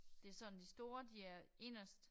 Det sådan de store de er inderst